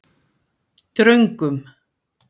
Dröngum